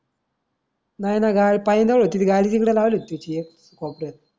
नाही न गाय पाय न गाडी तिकडे लावली होती थी एक कोपऱ्यात.